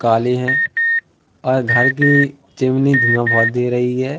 काले हैं और घर की चिमनी धुआँ बहोत दे रही हैं।